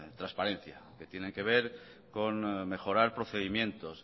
transparencia que tiene que ver con mejorar procedimientos